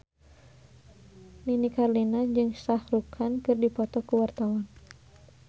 Nini Carlina jeung Shah Rukh Khan keur dipoto ku wartawan